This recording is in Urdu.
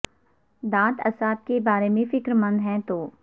دانت اعصاب کے بارے میں فکر مند ہیں تو